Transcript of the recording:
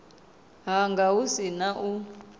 hanga hu si na u